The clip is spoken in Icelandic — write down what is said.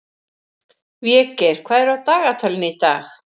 Végeir, hvað er á dagatalinu í dag?